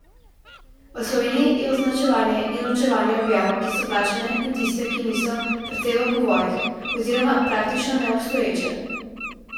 V Sloveniji je označevanje in ločevanje objav, ki so plačane in tiste, ki niso, precej v povojih, oziroma praktično neobstoječe.